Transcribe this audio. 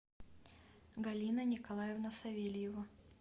галина николаевна савельева